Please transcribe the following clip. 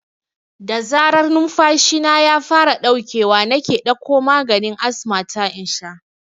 Da zarar numfashina ya fara ɗaukewa nake ɗakko maganin asma ta in sha